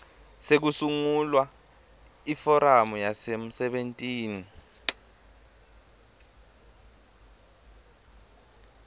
sekusungula iforamu yasemsebentini